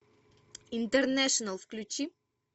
интернешнл включи